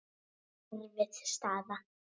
Erfið staða.